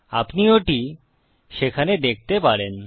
আপনি ওটি সেখানে দেখতে পারেন